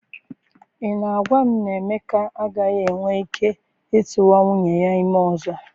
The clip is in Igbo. I na-agwa m na Emeka agaghị enwe ike ịtụwa nwunye ya ime ọzọ?